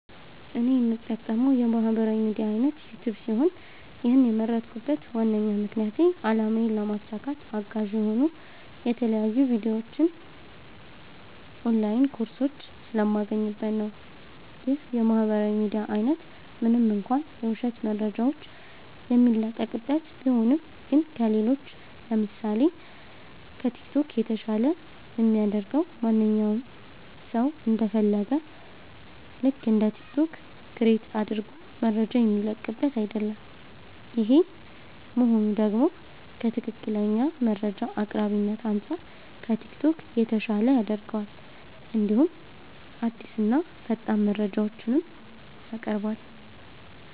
እኔ የምጠቀመዉ የማህበራዊ ሚድያ አይነት ዩቲዩብ ሲሆን ይህን የመረጥኩበት ዋነኛ ምክንያቴ አላማዬን ለማሳካት አጋዥ የሆኑ የተለያዩ ቪዲዮዎች ኦንላይን ኮርሶች ስለማገኝበት ነዉ። ይህ የማህበራዊ ሚዲያ አይነት ምንም እንኳ የዉሸት መረጃዎች የሚለቀቅበት ቢሆንም ግን ከሌሎች ለምሳሴ፦ ከቲክቶክ የተሻለ የሚያደርገዉ ማንኛዉም ሰዉ እንደ ፈለገዉ ልክ እንደ ቲክቶክ ክሬት አድርጎ መረጃ የሚለቅበት አይደለም ይሄ መሆኑ ደግሞ ከትክክለኛ መረጃ አቅራቢነት አንፃር ከቲክቶክ የተሻለ ያደርገዋል እንዲሁም አዲስና ፈጣን መረጃዎችንም ያቀርባል።